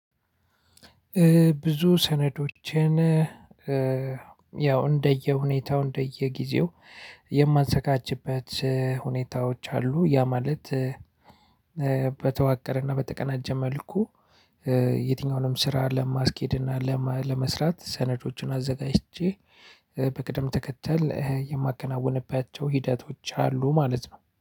ብዙ ሰነዶችን። ያው እንደየሁኔታው እንደየጊዜው የማዘጋጅበት ሁኔታዎች አሉ ያ ማለት። በተዋቀረና በተቀናጀ መልኩ የትኛውንም ስራ ለማስኬድና ለማ ለመስራት ሰነዶችን አዘጋጅቼ በቅደም ተከተል የማከናውንባቸው ሂደቶች አሉ ማለት ነው